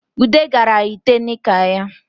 Ude gara yite nika ya